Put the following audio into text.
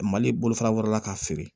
Mali bolofara wɛrɛ la k'a feere